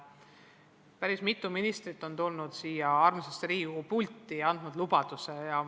Päris mitu ministrit on tulnud siia armsasse Riigikogu pulti ja andnud lubadusi.